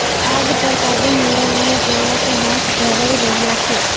આગ પર કાબુ મેળવવાના પ્રયાસો હાથ ધરાઈ રહ્યાં છે